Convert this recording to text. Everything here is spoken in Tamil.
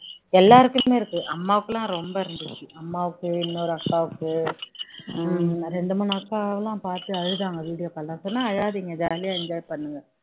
எல்லாருக்குமே இருக்கு அம்மாவுக்குலாம் ரொம்ப இருக்கு அம்மாவுக்கு இன்னொரு அக்காவுக்கு இரண்டு மூணு அக்காலாம் பார்த்து அழுதாங்க video call ல நான் சொன்னேன் அழாதீங்க jolly யா enjoy பண்ணுங்க